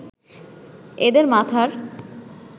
এদের মাথার